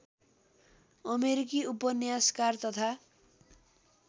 अमेरिकी उपन्यासकार तथा